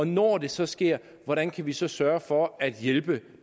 når det så sker hvordan kan vi så sørge for at hjælpe